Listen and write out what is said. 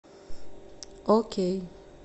окей